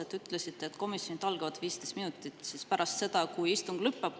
Te ütlesite, et komisjonide algavad 15 minutit pärast seda, kui istung on lõppenud.